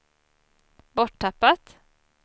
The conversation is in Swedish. borttappat